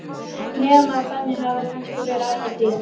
Nema að þannig hafi það kannski verið alla tíð.